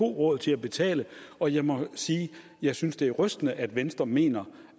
råd til at betale og jeg må sige jeg synes det er rystende at venstre mener